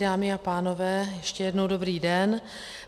Dámy a pánové, ještě jednou dobrý den.